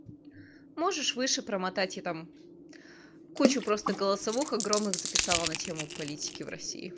можешь выше промотать я там кучу просто голосовых огромных записала на тему политики в россии